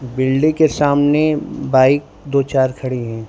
Building के सामने bike दो चार खड़ी है।